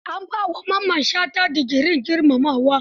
An ba wa Mamman shata digirin girmamawa.